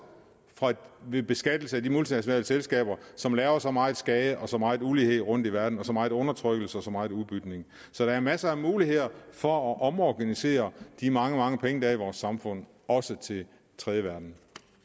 ved beskatning af de multinationale selskaber som laver så meget skade og så meget ulighed rundt i verden og så meget undertrykkelse og så meget udbytning så der er masser af muligheder for at omorganisere de mange mange penge der er i vores samfund også til den tredje verden